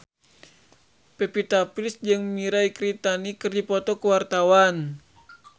Pevita Pearce jeung Mirei Kiritani keur dipoto ku wartawan